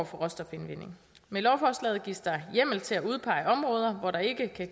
for råstofindvinding med lovforslaget gives der hjemmel til at udpege områder hvor der ikke kan